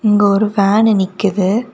இங்க ஒரு வேணு நிக்குது.